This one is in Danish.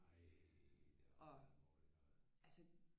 Og altså